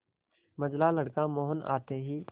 मंझला लड़का मोहन आते ही